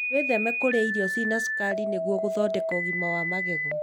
Wĩtheme kũrĩa irio cĩĩna cukari nĩguo gũthondeka ũgima wa magego.